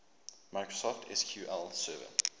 microsoft sql server